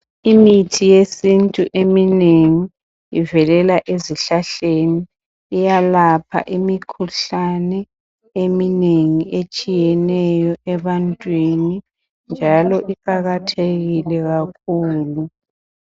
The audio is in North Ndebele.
Imithi eyesintu eminengi ivelela ezihlahleni iyalapha imikhuhlane eminengi etshiyeneyo ebantwini njalo iqakathekile kakhulu.